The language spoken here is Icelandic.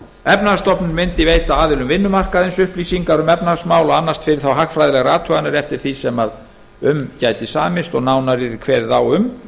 efnahagsstofnun mundi veita aðilum vinnumarkaðarins upplýsingar um efnahagsmál og annast fyrir þá hagfræðilegar athuganir eftir því sem um gæti samist og nánar yrði kveðið á um